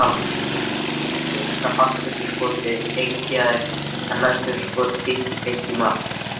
Fyrsta fallbyssuskotið geigaði en næstu skot hittu beint í mark.